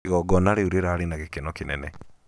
igongona riũ rĩrarĩ na gĩkeno kĩnene